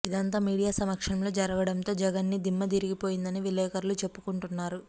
ఇదంతా మీడియా సమక్షంలో జరగడంతో జగన్కి దిమ్మ తిరిగిపోయిందని విలేకరులు చెప్పుకుంటున్నారు